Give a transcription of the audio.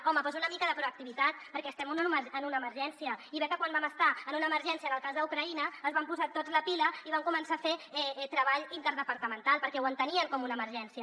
home doncs una mica de proactivitat perquè estem en una emergència i bé que quan vam estar en una emergència en el cas d’ucraïna es van posar tots la pila i van començar a fer treball interdepartamental perquè ho entenien com una emergència